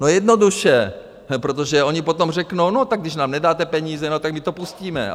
No jednoduše, protože oni potom řeknou, no tak když nám nedáte peníze, no tak my to pustíme.